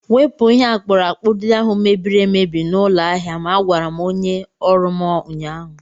Wepụ ihe akpụrụakpụ ndị ahụ mebiri emebi n'ụlọ ahịa m! Agwara m onye ọrụ m ụnyaahụ.